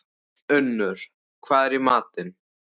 Unnur, hvað er í matinn?